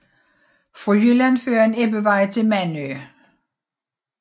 Fra Jylland fører en ebbevej til Mandø